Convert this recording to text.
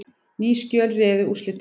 Ný skjöl réðu úrslitum